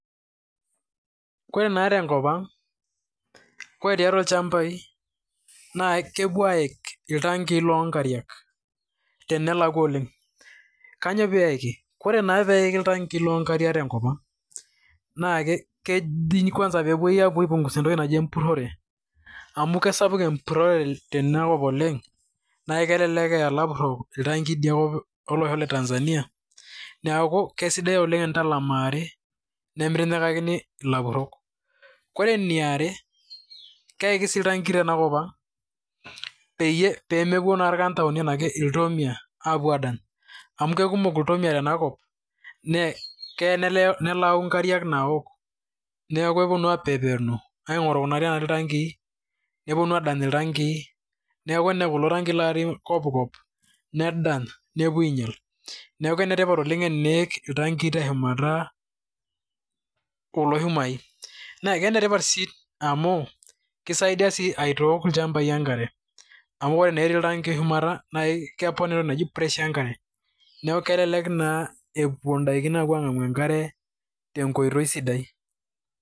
Koree naa tenkop ang' , koree tiatua ilchambai naa kepuo aik iltankii loonkariak tenelakua oleng. Kainyo peiki? Koree naa peiki ltankii lonkariak tenkop ang' naa keji kwanza pepuoi aipungusa entoki naji empurore amu kisapuk empurore tenakop oleng naa kelelek eya ilapurok iltanki idia kop olosho le Tanzania neaku kisidai oleng tenintalamari nemitinyikakini ilapurok. Koree eniare, keiki sii iltanki tenakop ang' pemepuo naa irkanjaoni enaa iltomia adany amu kekumok iltomia tenakop naa kelo nelau nkariak naok, neeku kupuonu apepenu aing'oru kuna ariak naati iltanki , nepuonu adany iltanki neeku kulo tanki otii kop kop nedany, nepuo ainyal. Neeku enetipat oleng teniik iltanki teshumata kulo shumai. Naa enetipat sii amu kisaidia sii aitok ilchambai enkare, amu ore naa eti ltankii shumata, na kepona entoki naji pressure enkare. Neeku kelelek naa epuo idaikin ang'amu enkare tenkoitoi sidai.